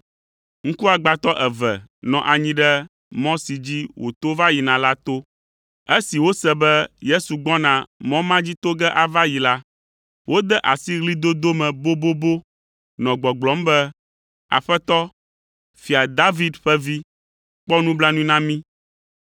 Ŋkuagbãtɔ eve nɔ anyi ɖe mɔ si dzi wòto va yina la to. Esi wose be Yesu gbɔna mɔ ma dzi to ge ava yi la, wode asi ɣlidodo me bobobo nɔ gbɔgblɔm be, “Aƒetɔ, Fia David ƒe Vi, kpɔ nublanui na mí!”